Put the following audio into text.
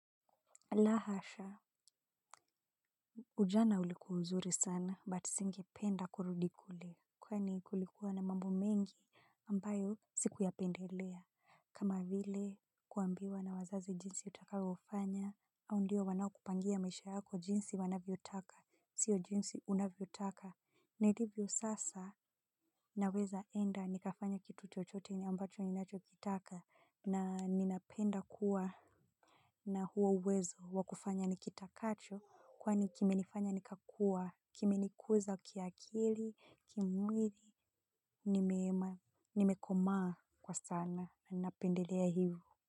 La hasha. Ujana ulikuwa uzuri sana but singependa kurudi kule. Kwani kulikuwa na mambo mengi ambayo Sikuyapendelea. Kama vile kuambiwa na wazazi jinsi utakavyofanya au ndio wanaokupangia maisha yako jinsi wanavyotaka sio jinsi unavyotaka. Nilivyo sasa nawezaenda nikafanya kitu chochote ambacho ninachokitaka na ninapenda kuwa na huo uwezo wa kufanya nikitakacho kwani kimenifanya nikakua, kimenikuza kiakili, kimwili, nimekomaa kwa sana na napendelea hivyo.